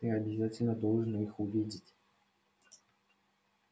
ты обязательно должен их увидеть